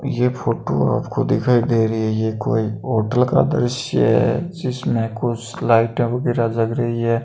यह फोटो आपको दिखाई दे रही है यह कोई होटल का दृश्य है जिसमें कुछ लाइटें वगैरह लग रही है।